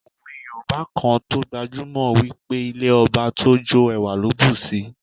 Òwe yoòbá kan tó gbajúmọ̀ wí pé "Ilé ọba tójó ẹwà ló bùsi"